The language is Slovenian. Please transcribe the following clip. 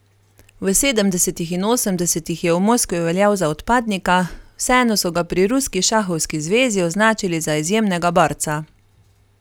V sedemdesetih in osemdesetih je v Moskvi veljal za odpadnika, vseeno so ga pri ruski šahovski zvezi označili za izjemnega borca.